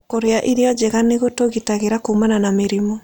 Kũrĩa irio njega nĩ gũtũgitagĩra kuumana na mĩrimũ.